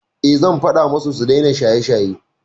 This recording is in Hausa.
Eh, zan faɗa musu su daina shaye-shaye.